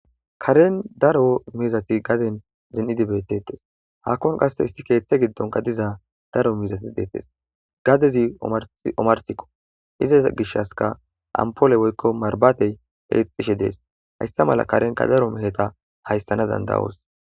Karen daro mizati gaden zen'idi beettettes haakkon qasse isti keeththe giddonka diza daro mizati deettes gadezi omarsikko izaz gish aska ampole woykko marbatey eexishe dees hayssa mala karenka daro miheta hayssana dandawoos.